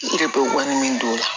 I yɛrɛ bɛ wari min don o la